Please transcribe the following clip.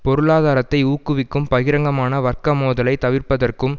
பொருளாதாரத்தை ஊக்குவிக்கும் பகிரங்கமான வர்க்க மோதலை தவிர்ப்பதற்கும்